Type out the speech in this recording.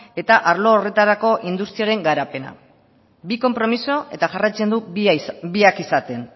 eta arlo horretarako industriaren garapena bi konpromiso eta jarraitzen du biak izaten